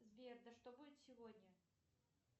сбер а что будет сегодня